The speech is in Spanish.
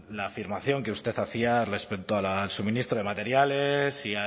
la afirmación que usted hacía respecto al suministro de materiales